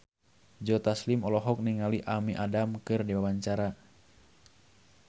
Joe Taslim olohok ningali Amy Adams keur diwawancara